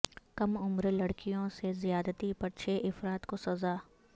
کم عمر لڑکیوں سے زیادتی پر چھ افراد کو سزا